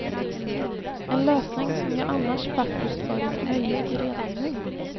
En lösning som ju annars faktiskt varit möjlig redan nu.